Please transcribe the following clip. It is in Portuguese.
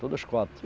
Todos quatro.